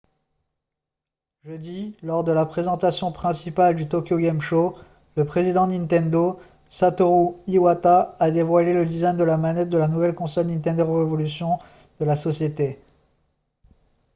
jeudi lors de la présentation principale du tokyo game show le président de nintendo satoru iwata a dévoilé le design de la manette de la nouvelle console nintendo revolution de la société